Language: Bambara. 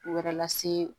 U wɛrɛ lase